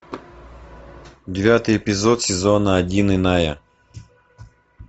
девятый эпизод сезона один иная